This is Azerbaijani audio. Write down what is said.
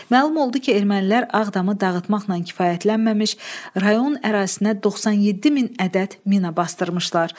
Məlum oldu ki, Ermənilər Ağdamı dağıtmaqla kifayətlənməmiş, rayon ərazisinə 97 min ədəd mina basdırmışlar.